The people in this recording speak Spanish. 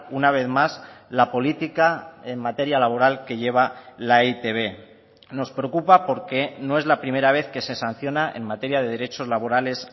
una vez más la política en materia laboral que lleva la e i te be nos preocupa porque no es la primera vez que se sanciona en materia de derechos laborales